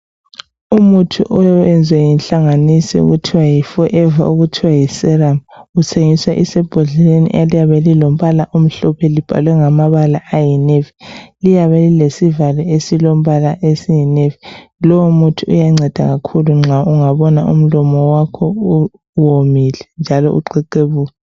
Umuthi oyenzwe yinhlanganiso okuthiwa yi forever, okuthiwa yiserum uthengiswa usembodleleni eliyabe lilombala omhlophe libhalwe ngamabala ayinavy liyabe lilesivalo esilombala oyinavy. Lowo muthi uyanceda kakhulu nxa ungabona umlomo wakho uwomile njalo uxexebuka.